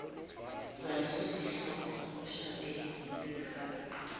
kwalesosihloko oshoda ngesikhala